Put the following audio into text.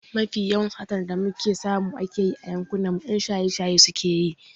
Mafi yawan satar da muke samu a yankinmu 'yan shaye-shaye ne suke yi.